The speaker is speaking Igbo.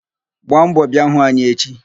Gbaa mbọ bịa hụ anyị echi!